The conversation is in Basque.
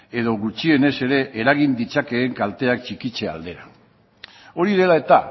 edo gutxienez ere eragin ditzakeen kalteak txikitze aldera hori dela eta